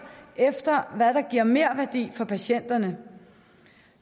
efter hvad der giver merværdi for patienterne